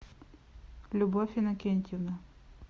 любовь иннокентьевна